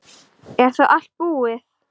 Er þá allt búið?